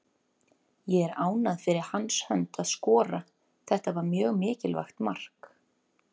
Ég er ánægður fyrir hans hönd að skora, þetta var mjög mikilvægt mark.